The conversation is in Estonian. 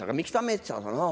Aga miks ta metsas on?